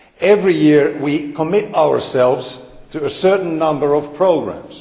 Every year we commit ourselves to a certain number of programmes.